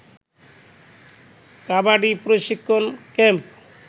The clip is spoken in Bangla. কাবাডি প্রশিক্ষণ ক্যাম্প